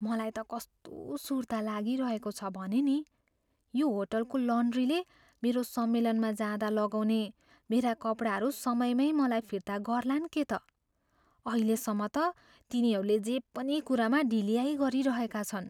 मलाई त कस्तो सुर्ता लागिरहेको छ भने नि, यो होटलको लन्ड्रीले मेरो सम्मेलनमा जाँदा लगाउने मेरा कपडाहरू समयमै मलाई फिर्ता गर्लान् के त। अहिलेसम्म त, तिनीहरूले जे पनि कुरामा ढिल्याई गरिरहेका छन्।